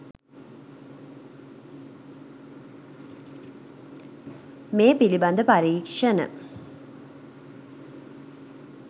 මේ පිළිබඳ පරීක්ෂණ